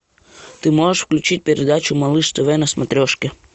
ты можешь включить передачу малыш тв на смотрешке